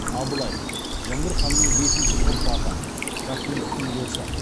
абылай жәңгір ханның бесінші ұрпағы рахметтің досы